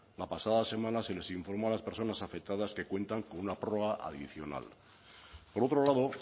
la pasada semana se les informó a las personas afectadas que cuentan una prórroga adicional por otro lado